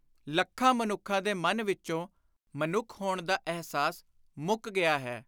ਲੱਖਾਂ ਮਨੁੱਖਾਂ ਦੇ ਮਨ ਵਿਚੋਂ ਮਨੁੱਖ ਹੋਣ ਦਾ ਅਹਿਸਾਸ ਮੁੱਕ ਗਿਆ ਹੈ।